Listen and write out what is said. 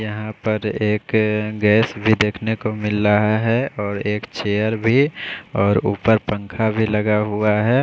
यहाँ पर एक अः गैस भी देखने को मिल रहा है और एक चेयर भी और ऊपर पंखा भी लगा हुआ है।